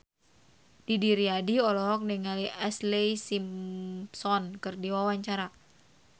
Didi Riyadi olohok ningali Ashlee Simpson keur diwawancara